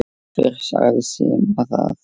Hver sagði Simma það?